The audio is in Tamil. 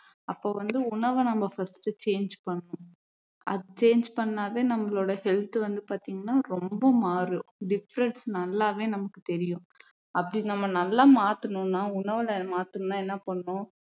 அப்போ வந்து உணவை வந்து நம்ம first change பண்ணணும் change பண்ணாவே நம்மளோட health வந்து பாத்தீங்கன்னா ரொம்ப மாறும் difference நல்லாவே நமக்கு தெரியும் அப்படி நம்ம நல்லா மாத்தணும்னா உணவுல மாத்தணும்னா என்ன பண்ணணும்